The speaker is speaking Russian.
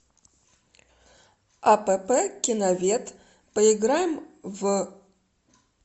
апп киновед поиграем в